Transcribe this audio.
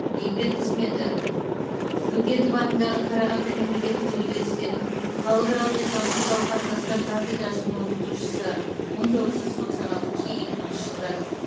еңбек қызметі бөкетов атындағы қарағанды мемлекеттік университетінің халықаралық экономикалық қатынастар кафедрасының оқытушысы мың тоғыз жүз тоқсан алты екі мыңыншы жылдар